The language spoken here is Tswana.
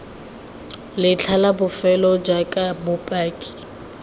letlha la bofelo jaaka bopaki